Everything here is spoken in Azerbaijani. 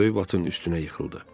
O böyük vatın üstünə yıxıldı.